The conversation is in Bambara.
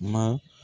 Ma